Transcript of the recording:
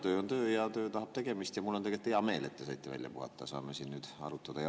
Töö on töö ja töö tahab tegemist ja mul on tegelikult hea meel, et te saite välja puhata, saame siin nüüd arutada.